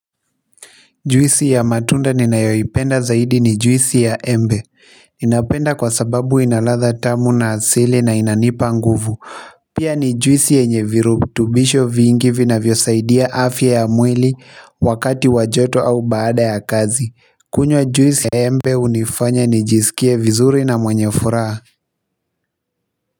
Juisi ya matunda ninayoipenda zaidi ni juisi ya embe. Ninapenda kwa sababu ina ladha tamu na asili na inanipa nguvu pia ni juisi yenye virutubisho vingi vinavyosaidia afya ya mwili wakati wa joto au baada ya kazi. Kunywa juisi ya embe hunifanya nijisikie vizuri na mwenye furaha.